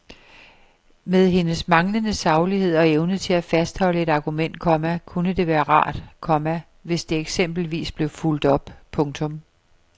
Med hendes manglende saglighed og evne til at fastholde et argument, komma kunne det være rart, komma hvis det eksempelvis blev fulgt op. punktum